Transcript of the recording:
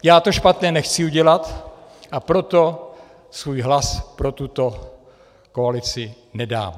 Já to špatné nechci udělat, a proto svůj hlas pro tuto koalici nedám.